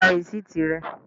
Gba rìsíìtì rẹ!